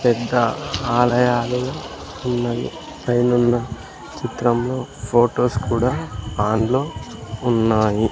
పెద్ద ఆలయాలు ఉన్నవి పైనున్న చిత్రంలో ఫొటోస్ కూడా ఆన్ లో ఉన్నాయి.